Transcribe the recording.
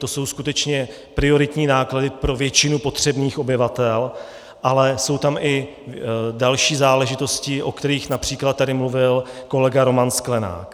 To jsou skutečně prioritní náklady pro většinu potřebných obyvatel, ale jsou tam i další záležitosti, o kterých například tady mluvil kolega Roman Sklenák.